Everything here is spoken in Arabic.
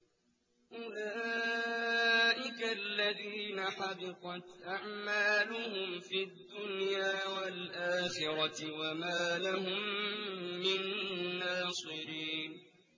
أُولَٰئِكَ الَّذِينَ حَبِطَتْ أَعْمَالُهُمْ فِي الدُّنْيَا وَالْآخِرَةِ وَمَا لَهُم مِّن نَّاصِرِينَ